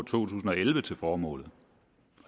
tusind og elleve til formålet